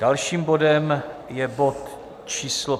Dalším bodem je bod číslo